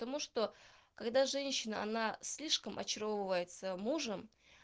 потому что когда женщина она слишком очаровывается мужем